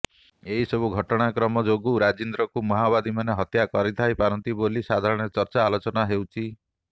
ଏହି ସବୁ ଘଟଣାକ୍ରମ ଯୋଗୁଁ ରାଜିନ୍ଦ୍ରଙ୍କୁ ମାଓବାଦୀମାନେ ହତ୍ୟା କରିଥାଇ ପାରନ୍ତି ବୋଲି ସାଧାରଣରେ ଚର୍ଚ୍ଚା ଆଲୋଚନା ହେଉଛି